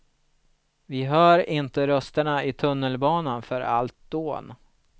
Vi hör inte rösterna i tunnelbanan för allt dån.